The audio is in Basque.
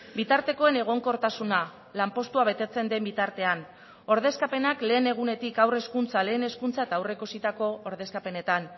bitartekoen egonkortasuna lanpostua betetzen den bitartean ordezkapenak lehen egunetik haur hezkuntza lehen hezkuntza eta aurreikusitako ordezkapenetan